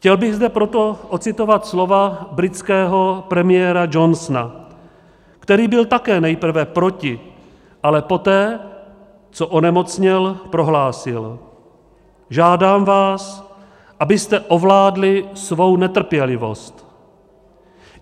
Chtěl bych zde proto ocitovat slova britského premiéra Johnsona, který byl také nejprve proti, ale poté, co onemocněl, prohlásil: "Žádám vás, abyste ovládli svou netrpělivost."